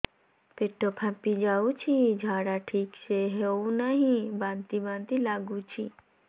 ପେଟ ଫାମ୍ପି ଯାଉଛି ଝାଡା ଠିକ ସେ ହଉନାହିଁ ବାନ୍ତି ବାନ୍ତି ଲଗୁଛି